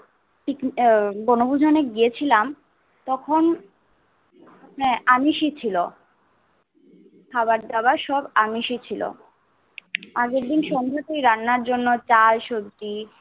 বনভুজনে গিয়েছিলাম তখন হ্যা আমিষছি ছিল খাওয়া দাওয়া সব আমিষছি ছিল। আগের দিন সন্ধ্যাতে রান্নার জন্য চাল সবজি